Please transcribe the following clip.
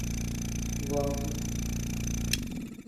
валзи